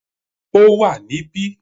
It is here